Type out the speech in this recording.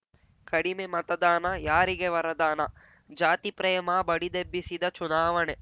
ಕಡಿಮೆ ಮತದಾನ ಯಾರಿಗೆ ವರದಾನ ಜಾತಿಪ್ರೇಮ ಬಡಿದೆಬ್ಬಿಸಿದ ಚುನಾವಣೆ